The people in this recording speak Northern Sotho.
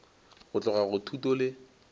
go tloga go thuto go